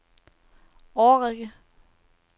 årrække